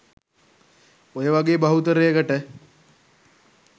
ඔය වගේ බහුතරයකට